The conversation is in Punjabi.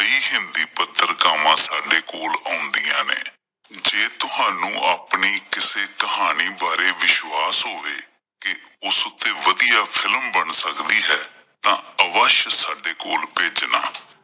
ਪਤਰਕਾਵਾਂ ਸਾਡੇ ਕੋਲ ਆਉਂਦੀਆਂ ਨੇ ਜੇ ਤੁਹਾਨੂੰ ਆਪਣੀ ਕਿਸੇ ਕਹਾਣੀ ਬਾਰੇ ਵਿਸ਼ਵਾਸ ਹੋਵੇ ਕੀ ਉਸ ਉੱਤੇ ਵਧੀਆ ਫਿਲਮ ਬਣ ਸਕਦੀ ਹੈ ਤਾਂ ਅਵਸ਼ ਸਾਡੇ ਕੋਲ ਭੇਜਣਾ।